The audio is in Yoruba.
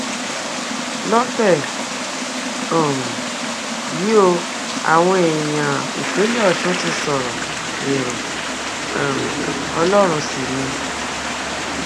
lọtẹ um yìí ó àwọn èèyàn ìpínlẹ ọsùn ti sọrọ èrò um ọlọrun sí ni